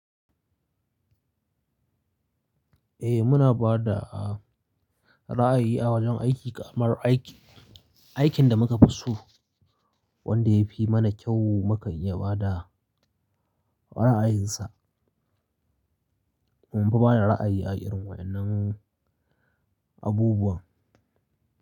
Eh muna ba da ra'ayi a wajen aiki, kamar aikin da muka fi so wanda ya fi mana kyau, mukan iya ba da ra'ayinsa. Mun fi ba da ra'ayi a irin wannan abubuwa.